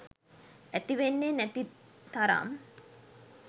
ඇතිවෙන්නේ නැති තරම්.